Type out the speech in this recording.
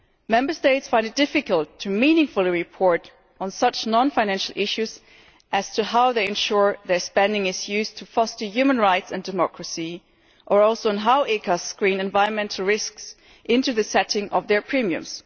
Member States find it difficult to frame a report on such non financial issues as to how they ensure their spending is used to foster human rights and democracy, or on how ECAs screen environmental risks into the setting of their premiums.